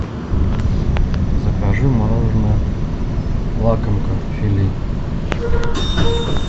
закажи мороженое лакомка фили